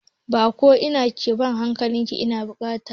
Ba ko ina ke bada hankali na baƙunci ba.